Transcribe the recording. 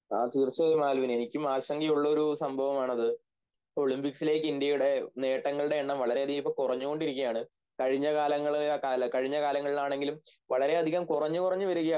ആ തീർച്ചയായും ആൽവിൻ എനിക്കും ആശങ്കയുള്ളൊരു സംഭവമാണത് ഒളിമ്പിക്സിലേക്ക് ഇന്ത്യയുടെ നേട്ടങ്ങളുടെയെണ്ണം വളരെയധികമിപ്പോൾ കുറഞ്ഞുകൊണ്ടിരിക്കുകയാണ് കഴിഞ്ഞകാലങ്ങളിലാണെങ്കിലും വളരെയധികം കുറഞ്ഞ് കുറഞ്ഞ് വരികയാണ്